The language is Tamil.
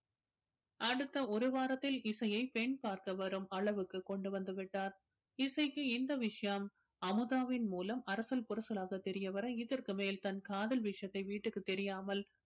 அடுத்த ஒரு வாரத்தில் இசையை பெண் பார்க்க வரும் அளவுக்கு கொண்டு வந்துவிட்டார் இசைக்கு இந்த விஷயம் அமுதாவின் மூலம் அரசல் புரசலாக தெரிய வர இதற்கு மேல் தன் காதல் விஷயத்தை வீட்டுக்கு தெரியாமல்